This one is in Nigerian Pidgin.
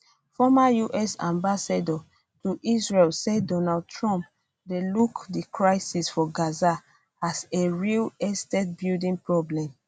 former us ambassador to israel say donald trump dey look di crisis for gaza as a real estate building problem